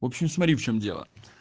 в общем смотри в чём дело